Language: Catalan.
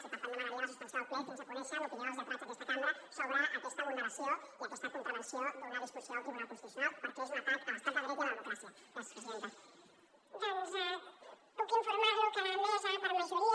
i per tant demanaria la suspensió del ple fins a conèixer l’opinió dels lletrats d’aquesta cambra sobre aquesta vulneració i aquesta contravenció d’una disposició del tribunal constitucional perquè és un atac a l’estat de dret i a la democràcia